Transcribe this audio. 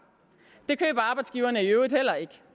det køber arbejdsgiverne i øvrigt heller ikke